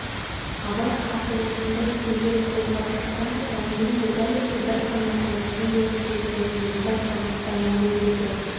абай хаты осындай күйлер толғап жатқанда дәрмен де дәл осы бір ғана таңертең көріп сезгенін өзі байқамастан өлеңдете